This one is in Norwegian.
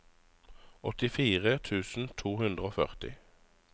åttifire tusen to hundre og førti